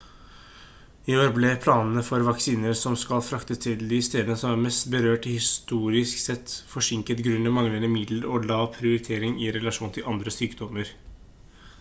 i år ble planene for vaksiner som skal fraktes til de stedene som er mest berørt historisk sett forsinket grunnet manglende midler og lav prioritering i relasjon til andre sykdommer